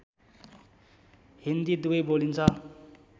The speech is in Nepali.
हिन्दी दुबै बोलिन्छ